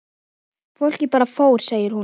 Fólkið bara fór segir hún.